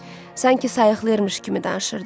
Sanki sayıqlayırmış kimi danışırdı.